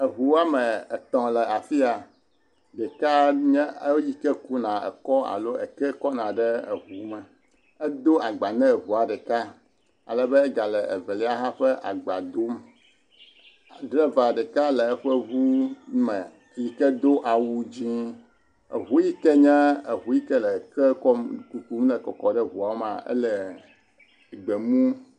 ʋu woame etɔ le afi ya ɖeka nye eyike kuna eke kɔna ɖe eʋume edo agbã ne ʋua ɖeka alebe egale evelia ha ƒe agbadom driva ɖeka ha le eƒeʋume yike do awu dzĩ ʋu yike nye ʋu yike le ke kum nɔ kɔkɔm ɖe ʋuamea le gbemu